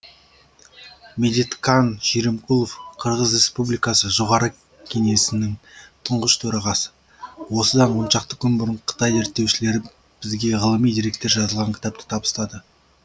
медеткан шеримкулов қырғыз республикасы жоғары кеңесінің тұңғыш төрағасы осыдан оншақты күн бұрын қытай зерттеушілері бізге ғылыми деректер жазылған кітапты табыстады